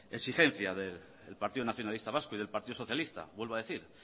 exigencia del partido nacionalista vasco y del partido socialista vuelvo a decir